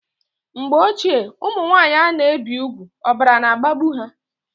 Mgbe ochie ụmụnwanyị ana ebi ùgwù ọbara na agbagbu ha